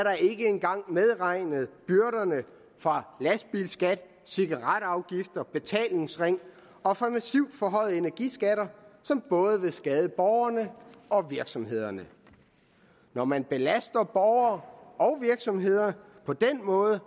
er ikke engang medregnet byrderne fra lastbilskat cigaretafgift betalingsring og massivt forhøjede energiskatter som både vil skade borgerne og virksomhederne når man belaster borgere og virksomheder på den måde